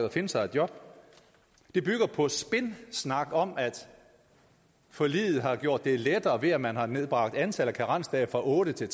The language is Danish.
og finde sig et job det bygger på spinsnak om at forliget har gjort det lettere ved at man har nedbragt antallet af karensdage fra otte til